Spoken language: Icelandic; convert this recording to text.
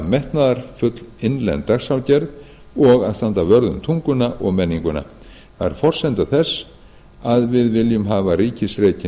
metnaðarfull innlend dagskrárgerð og að standa vörð um tunguna og menninguna það er forsenda þess að við viljum hafa ríkisrekinn